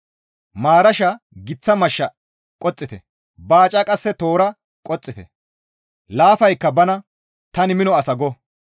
Maarasha giththa mashsha qoxxite; baaca qasse toora qoxxite; laafaykka bana, ‹Tani mino asa› go.